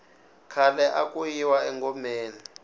khale aku yiwa engomeni